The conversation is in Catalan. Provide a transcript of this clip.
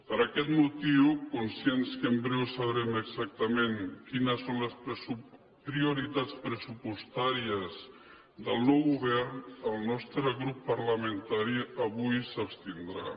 per aquest motiu conscients que en breu sabrem exactament quines són les prioritats pressupostàries del nou govern el nostre grup parlamentari avui s’abstindrà